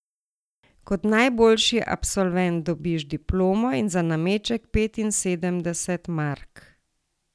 Kot najboljši absolvent dobiš diplomo in za nameček petinsedemdeset mark.